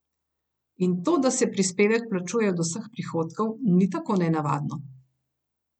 In to, da se prispevek plačuje od vseh prihodkov, ni tako nenavadno.